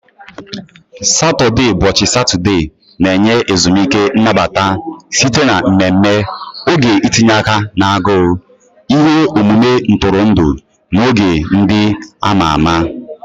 Saturdaybọchị Satọde na-enye ezumike nnabata site na mmemme, oge itinye aka na agụụ, ihe omume ntụrụndụ, na oge ndị a ma ama